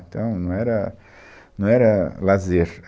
Então, não era, não era lazer.